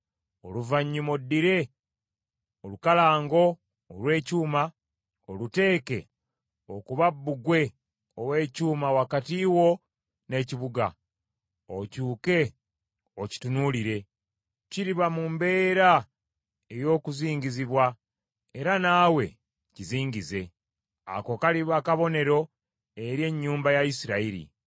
“Oluvannyuma oddire olukalango olw’ekyuma, oluteeke okuba bbugwe ow’ekyuma wakati wo n’ekibuga, okyuke okitunuulire. Kiriba mu mbeera ey’okuzingizibwa, era naawe kizingize. Ako kaliba kabonero eri ennyumba ya Isirayiri.